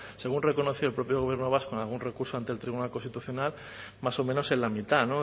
según reconoció el propio gobierno vasco en algún recurso ante el tribunal constitucional más o menos en la mitad